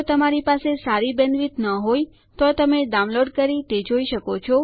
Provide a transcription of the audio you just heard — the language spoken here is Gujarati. જો તમારી પાસે સારી બેન્ડવિડ્થ ન હોય તો તમે ડાઉનલોડ કરીને તે જોઈ શકો છો